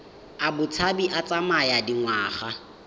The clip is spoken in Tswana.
a botshabi a tsaya dingwaga